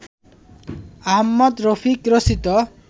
আহমদ রফিক রচিত